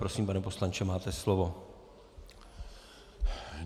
Prosím, pane poslanče, máte slovo.